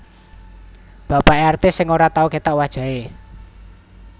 Bapake artis sing ora tau ketok wajahe